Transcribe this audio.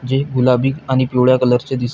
जे गुलाबी आणि पिवळ्या कलरचे दिस--